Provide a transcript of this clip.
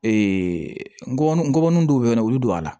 ngɔnɔnin dɔw bɛ yen olu bɛ don a la